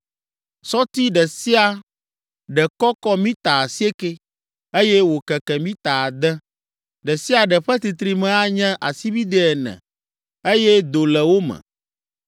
Sɔti ɖe sia ɖe kɔkɔ “mita” asiekɛ, eye wòkeke “mita” ade, ɖe sia ɖe ƒe titrime anye asibidɛ ene eye do le wo me.